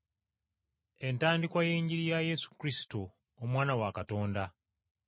Entandikwa y’Enjiri ya Yesu Kristo, Omwana wa Katonda.